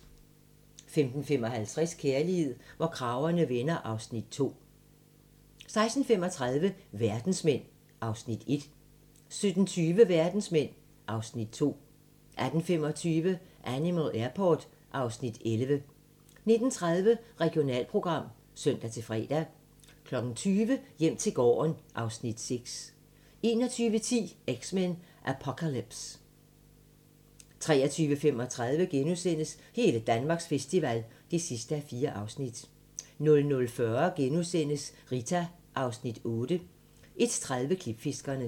15:55: Kærlighed, hvor kragerne vender (2:8) 16:35: Verdensmænd (Afs. 1) 17:20: Verdensmænd (Afs. 2) 18:25: Animal Airport (Afs. 11) 19:30: Regionalprogram (søn-fre) 20:00: Hjem til gården (Afs. 6) 21:10: X-Men: Apocalypse 23:35: Hele Danmarks festival (4:4)* 00:40: Rita (Afs. 8)* 01:30: Klipfiskerne